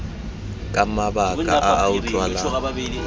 ka mabaka a a utlwalang